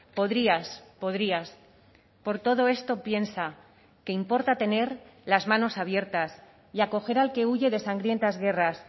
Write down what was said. podrías podrías por todo esto piensa que importa tener las manos abiertas y acoger al que huye de sangrientas guerras